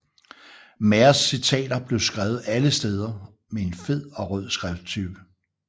Maos citater blev skrevet alle steder med en fed og rød skrifttype